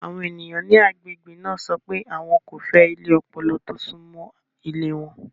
Àwọn ènìyàn ní agbègbè náà sọ pé àwọn kò fẹ́ ilé ọpọlọ tó súnmọ́ ilé wọn.